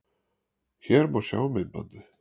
Hér má sjá myndbandið